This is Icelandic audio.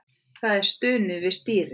Það er stunið við stýrið.